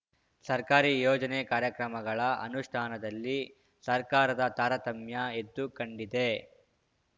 ಸರ್ಕಾರಿ ಯೋಜನೆ ಕಾರ್ಯಕ್ರಮಗಳ ಅನುಷ್ಠಾನದಲ್ಲಿ ಸರ್ಕಾರದ ತಾರತಮ್ಯ ಎದ್ದು ಕಂಡಿದೆ